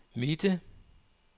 midte